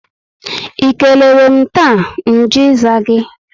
I keleerem taa, nju ịza gị?